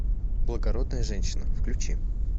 благородная женщина включи